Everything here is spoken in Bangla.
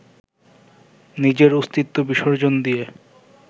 নিজের অস্তিত্ব বিসর্জন দিয়ে